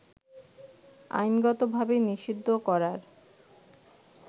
আইনগত-ভাবে নিষিদ্ধ করার